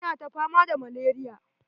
Ina ta fama da malaria.